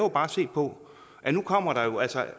bare se på at nu kommer der altså